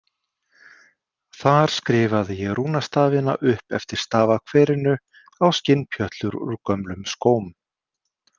Þar skrifaði ég rúnastafina upp eftir stafakverinu á skinnpjötlur úr gömlum skóm.